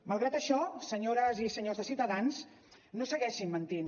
malgrat això senyores i senyors de ciutadans no segueixin mentint